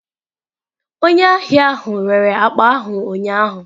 Onye ahịa ahụ rere akpa ahụ ụnyaahụ.